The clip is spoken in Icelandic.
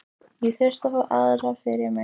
Ég þurfti að fá aðra fyrir mig.